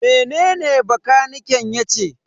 Mene bakaniken yace?